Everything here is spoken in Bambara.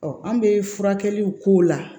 an bɛ furakɛliw k'o la